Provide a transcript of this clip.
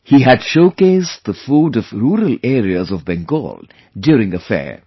He had showcased the food of rural areas of Bengal during a fair